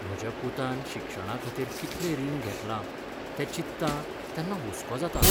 म्हज्या पुतान शिक्षणाखातीर कितलें रीण घेतलां तें चिंत्तां तेन्ना हुस्को जाता.